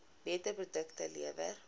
beter produkte lewer